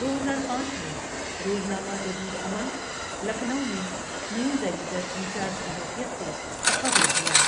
دو ہزار پانچ میں روزنامہ جدید عمل، لکھنؤ میں نیوز ایڈیٹر ْانچارج کی حیثیت سےتقررہوا ۔